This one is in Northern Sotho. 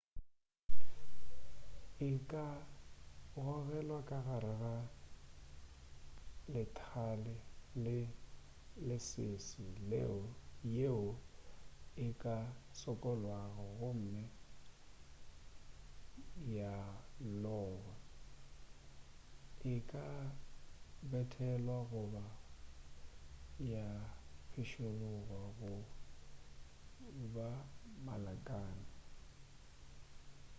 e ka gogelwa ka gare ga lethale le lesese yeo e ka sokollwago gomme ya logwa e ka bethelelwa goba ya pšhikološwa go ba malakane